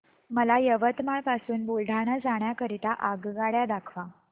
मला यवतमाळ पासून बुलढाणा जाण्या करीता आगगाड्या दाखवा